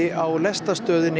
á lestarstöðinni